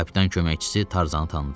Kapitan köməkçisi Tarzanı tanıdı.